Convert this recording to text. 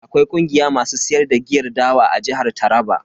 Akwai kungiya masu siyar da giyar dawa a jihar Taraba.